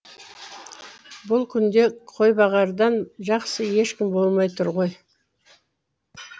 бұл күнде қойбағардан жақсы ешкім болмай тұр ғой